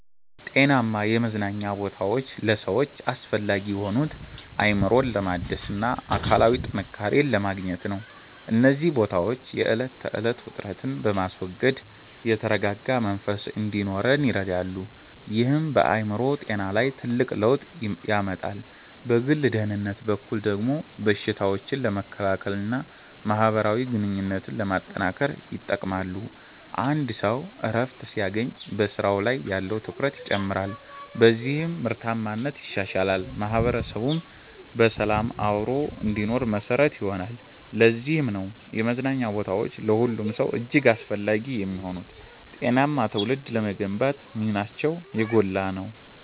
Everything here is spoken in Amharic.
ጤናማ የመዝናኛ ቦታዎች ለሰዎች አስፈላጊ የሆኑት፣ አእምሮን ለማደስና አካላዊ ጥንካሬን ለማግኘት ነው። እነዚህ ቦታዎች የዕለት ተዕለት ውጥረትን በማስወገድ የተረጋጋ መንፈስ እንዲኖረን ይረዳሉ፤ ይህም በአእምሮ ጤና ላይ ትልቅ ለውጥ ያመጣል። በግል ደህንነት በኩል ደግሞ በሽታዎችን ለመከላከልና ማህበራዊ ግንኙነትን ለማጠናከር ይጠቅማሉ። አንድ ሰው እረፍት ሲያገኝ በስራው ላይ ያለው ትኩረት ይጨምራል፤ በዚህም ምርታማነት ይሻሻላል። ማህበረሰቡም በሰላም አብሮ እንዲኖር መሰረት ይሆናሉ። ለዚህም ነው የመዝናኛ ቦታዎች ለሁሉም ሰው እጅግ አስፈላጊ የሚሆኑት፤ ጤናማ ትውልድ ለመገንባትም ሚናቸው የጎላ ነው።